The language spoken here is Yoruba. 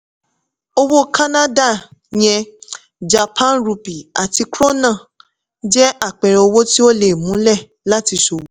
owó canada yen japan rupee àti krona jẹ́ àpẹẹrẹ owó tí ó múlẹ̀ láti ṣòwò.